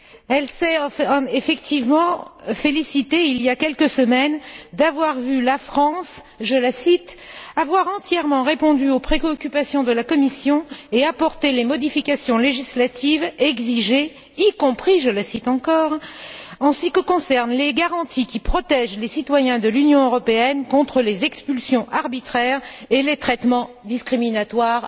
Elle s'est effectivement félicitée, il y a quelques semaines, d'avoir vu la France je cite avoir entièrement répondu aux préoccupations de la Commission et apporté les modifications législatives exigées, y compris, je la cite encore, en ce qui concerne les garanties qui protègent les citoyens de l'Union européenne contre les expulsions arbitraires et les traitements discriminatoires.